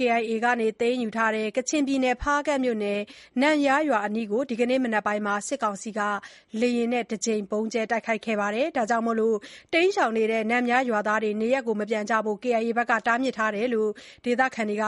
KIA က သိမ်းယူထားတဲ့ ကချင်ပြည်နယ် ဖားကန့်မြို့နယ်၊ နန့်ယားရွာအနီးကို ဒီကနေ့မနက်မှာ စစ်ကောင်စီက လေယာဉ်နဲ့ တကြိမ် ဗုံးကြဲတိုက်ခိုက်ခဲ့ကြောင်းနဲ့ တိမ်းရှောင်နေတဲ့ နန့်ယားရွာသားတွေကို နေရပ်မပြန်ဖို့ KIA က တားမြစ်ထားကြောင်း ဒေသခံတွေက